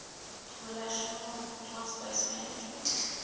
relational database management